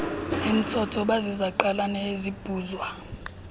emtsotso baziziqalane ezibhuzwa